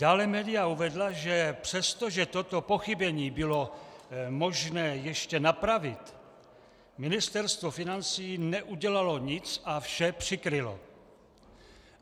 Dále média uvedla, že přesto, že toto pochybení bylo možné ještě napravit, Ministerstvo financí neudělalo nic a vše přikrylo.